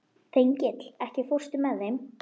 Þengill, ekki fórstu með þeim?